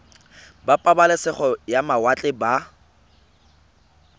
ba pabalesego ya mawatle ba